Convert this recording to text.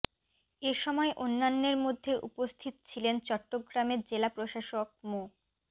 এ সময় অন্যান্যের মধ্যে উপস্থিত ছিলেন চট্টগ্রামের জেলা প্রশাসক মো